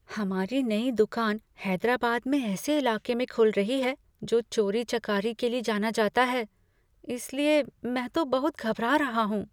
हमारी नई दुकान हैदराबाद में ऐसे इलाके में खुल रही है जो चोरी चकारी के लिए जाना जाता है। इस लिए मैं तो बहुत घबरा रहा हूँ।